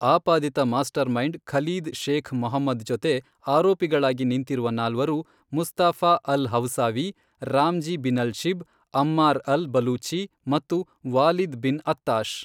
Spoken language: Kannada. ಆಪಾದಿತ mastermind Khalid Sheikh Mohammed ಜೊತೆ ಆರೋಪಿಗಳಾಗಿ ನಿಂತಿರುವ ನಾಲ್ವರು Mustafa al Hawsawi, Ramzi Binalshibh, Ammar al Baluchi ಮತ್ತು ವಾಲಿದ್ ಬಿನ್ ಅತ್ತಾಶ್